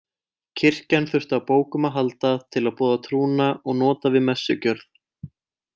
Kirkjan þurfti á bókum að halda til að boða trúna og nota við messugjörð.